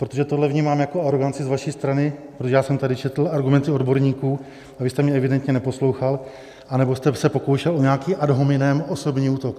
Protože tohle vnímám jako aroganci z vaší strany, protože já jsem tady četl argumenty odborníků a vy jste mě evidentně neposlouchal, anebo jste se pokoušel o nějaký ad hominem, osobní útok.